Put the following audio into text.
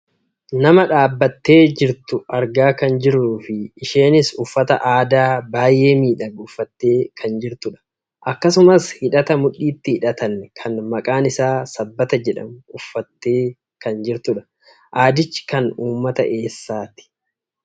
Nama dhaabbattee jirtu argaa kan jirruufi isheenis uffata aadaa baayyee miidhagu uffattee kan jirtudha. Akkasumas hidhata mudhiitti hidhatan kan maqaan isaa sabbata jedhamu uffattee kan jirtudha. Aadichi kan uummata eessaati?